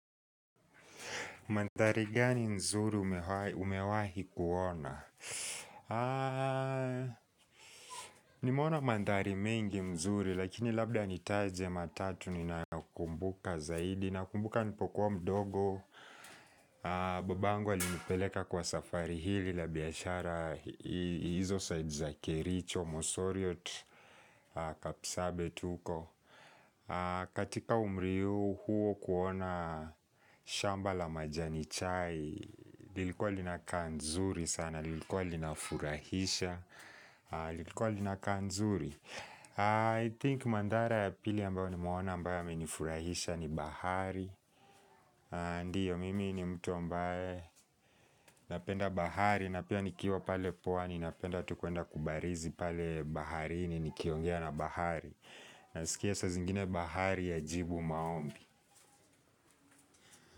Mandhari gani mzuri umewahi kuona? Nimeona mandhari mengi mzuri, lakini labda nitaje matatu ninayo kumbuka zaidi. Nakumbuka nipokuwa mdogo, babangu alinipeleka kwa safari hili la biashara hizo saidi za kericho, mosoriot, kapisabet huko. Katika umri huo kuona shamba la majani chai lilikuwa linaka nzuri sana lilikuwa lina furahisha lilikuwa linaka nzuri I think mandhara ya pili ambayo nimeona ambayo yamenifurahisha ni bahari Ndiyo mimi ni mtu ambaye napenda bahari Napia nikiwa pale pwani ni napenda tu kwenda kubarizi pale baharini nikiongea na bahari Nasikia saa zingine bahari ya jibu maombi.